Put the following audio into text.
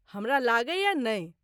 हमरा लगैए नहि।